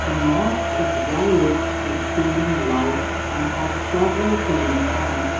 the mosque is well lit with ceiling lights and has several ceiling fans.